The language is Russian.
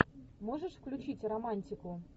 можешь включить романтику